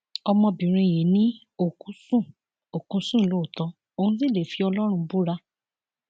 ọmọbìnrin yìí ni òkú sùn òkú sùn lóòótọ òun sì lè fi ọlọrun búra